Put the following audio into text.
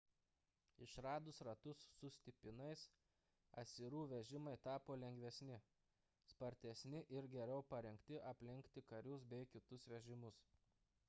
išradus ratus su stipinais asirų vežimai tapo lengvesni spartesni ir geriau parengti aplenkti karius bei kitus vežimus